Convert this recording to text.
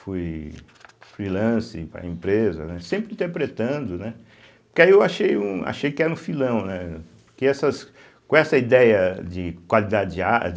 Fui freelancer para a empresa, né, sempre interpretando, né, porque aí eu achei um achei que era um filão, né que essas com essa ideia de qualidade de a de